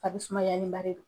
A fri sumaya ni ba de don.